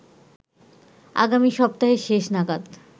আগামী সপ্তাহের শেষ নাগাদ